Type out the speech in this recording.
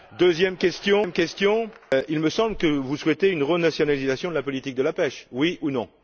Deuxième question il me semble que vous souhaitez une renationalisation de la politique de la pêche, oui ou non?